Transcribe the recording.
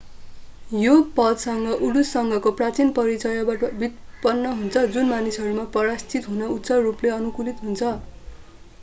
यो पद उडुससँगको प्राचीन परिचयबाट व्युत्पन्न हुन्छ जुन मानिसहरूमा पराश्रित हुन उच्च रूपले अनुकूलित हुन्छन्